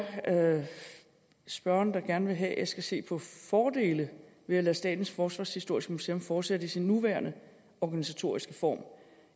at spørgeren gerne vil have at jeg skal se på fordele ved at lade statens forsvarshistoriske museum fortsætte i sin nuværende organisatoriske form